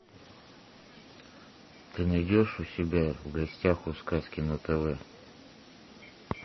ты найдешь у себя в гостях у сказки на тв